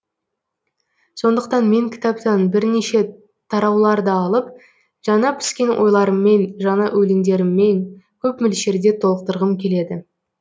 сондықтан мен кітаптан бірнеше тарауларды алып жаңа піскен ойларыммен жаңа өлеңдеріммен көп мөлшерде толықтырғым келеді